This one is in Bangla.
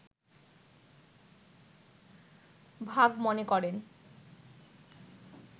ভাগ মনে করেন